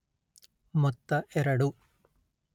ಮೊತ್ತ ಎರಡು